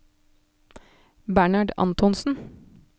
Bernhard Antonsen